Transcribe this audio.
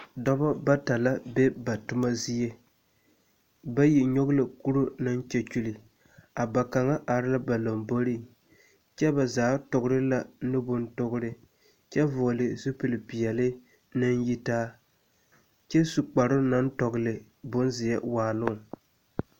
Dɔbɔ bata la be ba tomɔ zie, bayi nyɔgevla kuru naŋ kyɛkyuli. A ba kaŋa ar la ba lamboriŋ, kyɛ ba zaa togre la nu bontoore kyɛ vɔɔle zupilpeɛle naŋ yitaa. Kyɛ su kparoo naŋ tɔgele bonzeɛ waaloŋ.